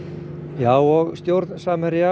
já og stjórn Samherja